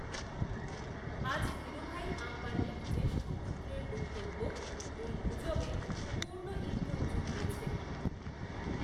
আজ, ধীরুভাই, অম্বানীর জ্যেষ্ঠ পুত্রের বক্তব্য, এই গুজবে পূর্ণ ইন্ধন জুগিয়েছে